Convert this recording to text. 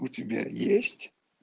у тебя есть